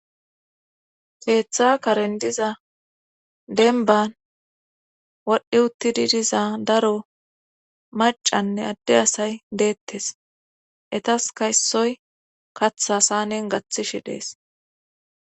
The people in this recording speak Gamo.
keeththa karendiza denban wodhdhi uttididiza daro macanne adde asay deettes etas kayssoy katha sanen gaththishi dees